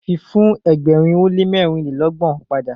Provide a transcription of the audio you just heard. fi fun ẹgbẹrin o le mẹrinlelọgbọn pada.